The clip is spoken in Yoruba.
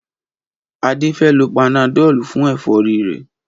Adé fé lo panadol fún èfórí rè